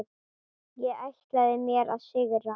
Ég ætlaði mér að sigra.